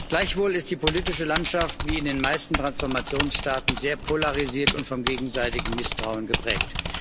Gleichwohl ist die politische Landschaft, wie in den meisten Transformationsstaaten, sehr polarisiert und vom gegenseitigen Misstrauen geprägt.